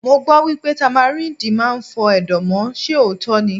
Mo gbọ́ wípé Támáríndì máa ń fọ Ẹ̀dọ̀ mọ́, ṣe òótọ́ ni?